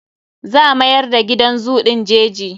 Za mayar da gidan zoo ɗin jeji.